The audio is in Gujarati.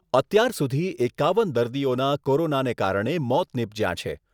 અત્યાર સુધી એકાવન દર્દીઓના કોરોનાને કારણે મોત નિપજ્યાં છે.